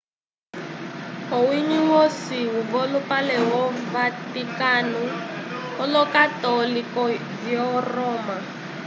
owiñgi wosi wolupale wo vaticano olo-católico vyo roma